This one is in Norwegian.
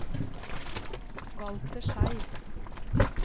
Walter Schei